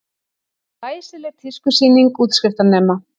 Glæsileg tískusýning útskriftarnema